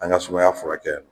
An ga sumaya furakɛ